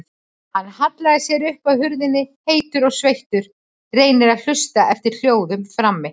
Hann hallar sér upp að hurðinni, heitur og sveittur, reynir að hlusta eftir hljóðum frammi.